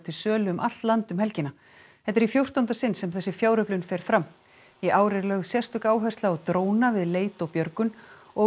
sölu um allt land um helgina þetta er í fjórtánda sinn sem þessi fjáröflun fer fram í ár er lögð sérstök áhersla á dróna við leit og björgun og